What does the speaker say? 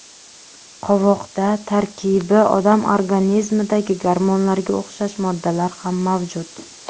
Qovoqda tarkibi odam organizmidagi gormonlarga o‘xshash moddalar ham mavjud.